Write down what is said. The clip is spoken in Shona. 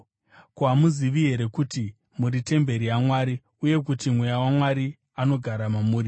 Ko, hamuzivi here kuti muri temberi yaMwari uye kuti Mweya waMwari anogara mamuri?